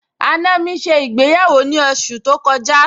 àna mi ṣe ìgbéyàwó ní oṣù tó kọjá